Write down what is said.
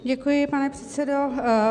Děkuji, pane předsedo.